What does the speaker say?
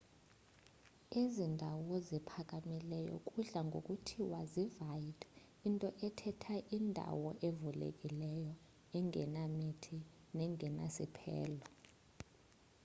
ezi ndawo ziphakamileyo kudla ngokuthiwa zii-vidde into ethetha indawo evulekileyo engenamithi nengenasiphelo